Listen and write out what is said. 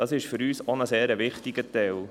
» Dies ist für uns auch ein sehr wichtiger Teil.